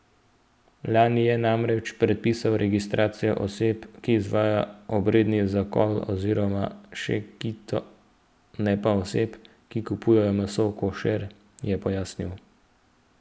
Lani je namreč predpisal registracijo oseb, ki izvajajo obredni zakol oziroma šekito, ne pa oseb, ki kupujejo meso košer, je pojasnil.